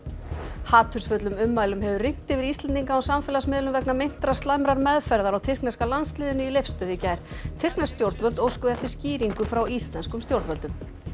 hatursfullum ummælum hefur rignt yfir Íslendinga á samfélagsmiðlum vegna meintrar slæmrar meðferðar á tyrkneska landsliðinu í Leifsstöð í gær tyrknesk stjórnvöld óskuðu eftir skýringu frá íslenskum stjórnvöldum